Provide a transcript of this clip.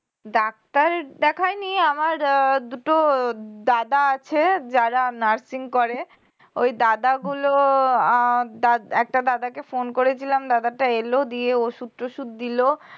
doctor দেখাইনি আমার দুটো দাদা আছে যারা nursing করে ওই দাদা গুলো উম একটা দাদাকে phone করেছিলাম দাদাটা এল দিয়ে ওষুধ টষুধ দিল